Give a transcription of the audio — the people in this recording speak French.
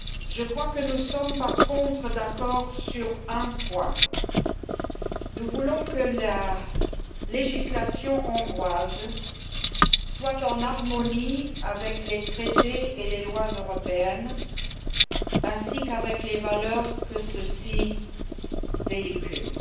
Je crois que nous sommes, en revanche, d'accord sur un point nous voulons que la législation hongroise soit en harmonie avec les traités et les lois européennes ainsi qu'avec les valeurs que ceux ci véhiculent.